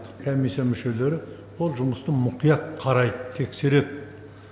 комиссия мүшелері ол жұмысты мұқият қарайды тексереді